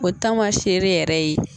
O taamasere yɛrɛ ye,